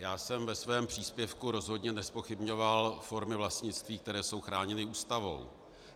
Já jsem ve svém příspěvku rozhodně nezpochybňoval formy vlastnictví, které jsou chráněny Ústavou.